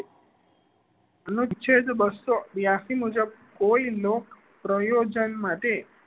અનુચ્છેદ બસ્સો બ્યાશી મુજબ કોઈ લોભ પ્રયોજન માટે